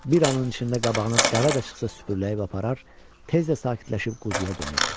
Bir anın içində qabağına dəvə də çıxsa süpürüləyib aparar, tez də sakitləşib quzuya dönürdü.